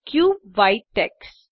cube white tax